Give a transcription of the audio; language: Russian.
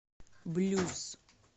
блюз